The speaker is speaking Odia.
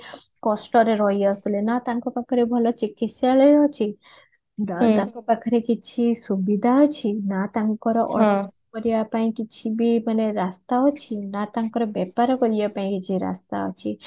କଷ୍ଟରେ ରହି ଆସୁଥିଲେ ନା ତାଙ୍କ ପାଖରେ ଭଲ ଚିକିସ୍ଥାଲୟ ଅଛି ନା ତାଙ୍କ ପାଖରେ କିଛି ସୁବିଧା ଅଛି ନା ତାଙ୍କର ଅର୍ଥ କରିବା ପାଇଁ କିଛିବି ମାନେ ରାସ୍ତା ଅଛି ନା ତାଙ୍କର ବେପାର କରିବା ପାଇଁ କିଛି ରାସ୍ତା ଅଛି